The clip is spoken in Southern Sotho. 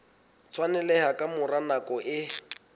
tshwaneleha ka mora nako e